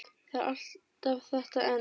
Það er alltaf þetta en.